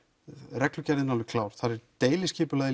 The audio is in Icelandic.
reglugerðin alveg klár þar er deiliskipulagið